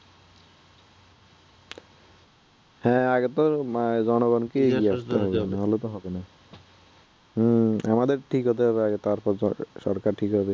হ্যাঁ আগে তো জনগণকেই ঠিক হতে হবে নাহলে তো হবে না হুম আমাদের ঠিক হতে হবে আগে তারপর সরকার ঠিক হবে